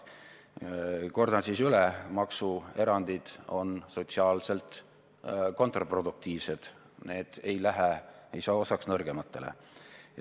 Kordan siis üle: maksuerandid on sotsiaalselt kontraproduktiivsed, nendest saadav kasu ei saa osaks nõrgematele.